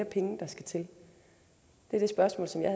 penge der skal til det er det spørgsmål som jeg